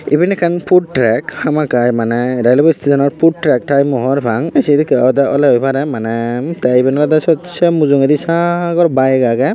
iben ekkan food track hamakkai mane railway station ot food track tai mui hobor pang ai sedekke ode ole oi pare mane te iben olode sot se mujungedi sagor bike aage.